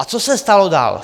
A co se stalo dál?